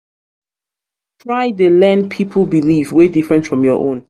try dey learn pipol um belief wey different from yur own